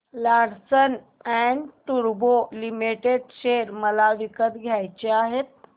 Larsen and टुर्बो limited share मला विकत घ्यायचे आहेत